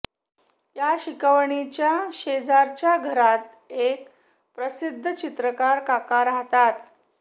या शिकवणीच्या शेजारच्या घरात एक प्रसिद्ध चित्रकार काका राहतात